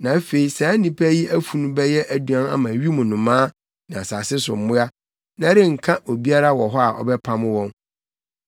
Na afei saa nnipa yi afunu bɛyɛ aduan ama wim nnomaa ne asase so mmoa, na ɛrenka obiara wɔ hɔ a ɔbɛpam wɔn.